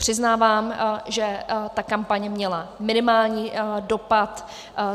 Přiznávám, že ta kampaň měla minimální dopad.